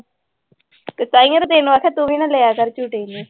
ਤਾਂਹੀਓ ਤਾਂ ਤੈਨੂੰ ਆਖਿਆ ਤੂੰ ਵੀ ਨਾ ਲਿਆ ਕਰ ਝੂਟੇ ਇੰਨੇ।